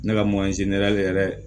Ne ka yɛrɛ